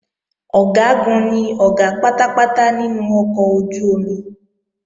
Ọ̀gágun ni Ọ̀gá pátápátá nínú ọkọ̀ ojú-omi